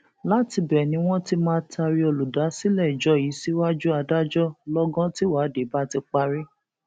látìbẹ ni wọn ti máa taari olùdásílẹ ìjọ yìí síwájú adájọ lọgán tíwádìí bá ti parí